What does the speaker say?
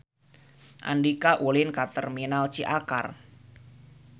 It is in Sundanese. Andika ulin ka Terminal Ciakar